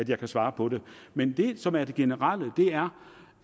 jeg kan svare på det men det som er det generelle er